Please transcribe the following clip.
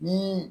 Ni